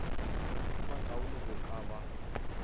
a makaone go ka ba